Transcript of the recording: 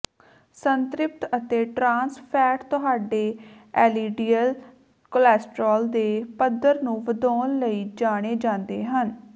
ਸੰਤ੍ਰਿਪਤ ਅਤੇ trans fat ਤੁਹਾਡੇ LDL cholesterol ਦੇ ਪੱਧਰ ਨੂੰ ਵਧਾਉਣ ਲਈ ਜਾਣੇ ਜਾਂਦੇ ਹਨ